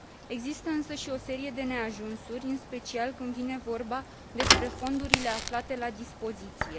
Există însă și o serie de neajunsuri, în special când vine vorba despre fondurile aflate la dispoziție.